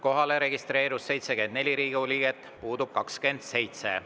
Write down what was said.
Kohalolijaks registreerus 74 Riigikogu liiget, puudub 27.